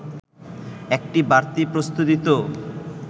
একটি বাড়তি প্রস্তুতি তো